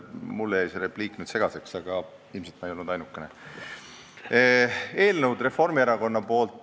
Mulle jäi see repliik segaseks, aga ilmselt ma ei olnud ainukene.